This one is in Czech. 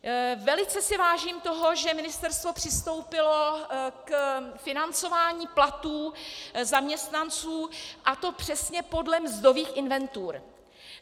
Velice si vážím toho, že ministerstvo přistoupilo k financování platů zaměstnanců, a to přesně podle mzdových inventur.